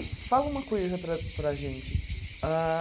E fala uma coisa para para a gente. Ah